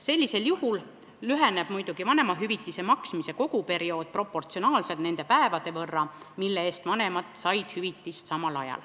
Sellisel juhul lüheneb muidugi vanemahüvitise maksmise koguperiood proportsionaalselt nende päevade võrra, mille eest vanemad samal ajal hüvitist said.